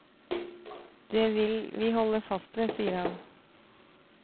Det vil vi hode fast ved, sier han.